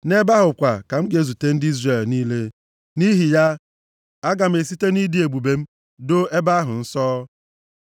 Nʼebe ahụ kwa ka m ga-ezute ndị Izrel niile. Nʼihi ya, aga m esite nʼịdị ebube m doo ebe ahụ nsọ.